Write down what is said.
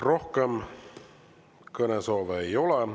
Rohkem kõnesoove ei ole.